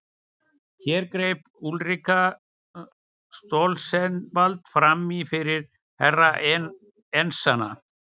Hér greip Úlrika Stoltzenwald framí fyrir Herra Enzana.